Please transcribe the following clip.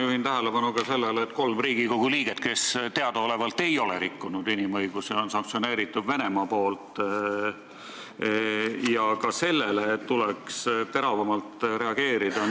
Ma juhin tähelepanu ka sellele, et kolme Riigikogu liikme suhtes, kes teadaolevalt ei ole rikkunud inimõigusi, on Venemaa sanktsioone rakendanud ja sellele tuleks teravamalt reageerida.